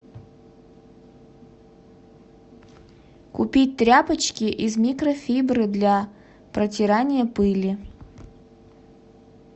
купить тряпочки из микрофибры для протирания пыли